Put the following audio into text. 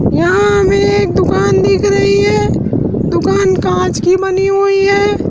यहां हमें एक दुकान दिख रही है दुकान कांच की बनी हुई है।